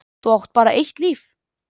Þú átt bara eitt líf.